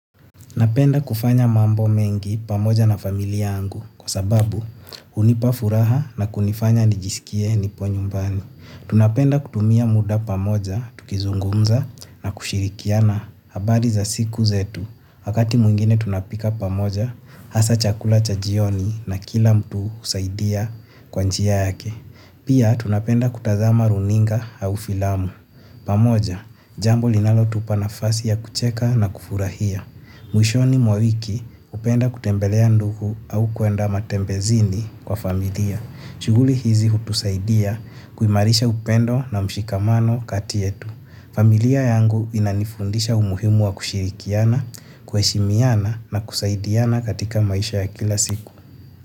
Napenda kufanya mambo mengi pamoja na familia angu kwa sababu hunipa furaha na kunifanya nijiskie nipo nyumbani. Tunapenda kutumia muda pamoja, tukizungumza na kushirikiana abari za siku zetu. Wakati mwingine tunapika pamoja, hasa chakula cha jioni na kila mtu usaidia kwa njia yake. Pia tunapenda kutazama runinga au filamu. Pamoja, jambo linalotupa nafasi ya kucheka na kufurahia. Mwishoni mwa wiki hupenda kutembelea ndugu au kuenda matembezini kwa familia. Shuguli hizi hutusaidia kuimarisha upendo na mshikamano kati etu. Familia yangu inanifundisha umuhimu wa kushirikiana, kueshimiana na kusaidiana katika maisha ya kila siku.